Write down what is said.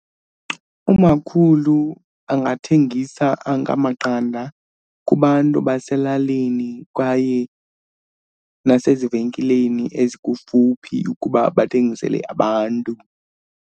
Umakhulu angathengisa anga amaqanda kubantu baselalini kwaye nasezivenkileni ezikufuphi ukuba bathengisele abantu.